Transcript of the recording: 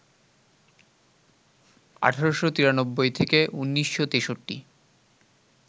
১৮৯৩ - ১৯৬৩